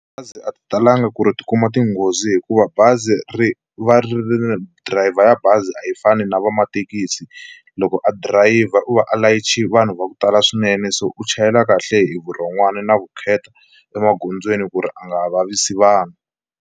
Bazi a ri talanga ku ri ri kuma tinghozi hikuva bazi ri va ri ri dirayivha ya bazi a yi fani na vamathekisi loko a dirayivha u va a layiche vanhu va ku tala swinene, so u chayela kahle hi vurhon'wana na vukheta emagondzweni ku ri a nga vavisi vanhu.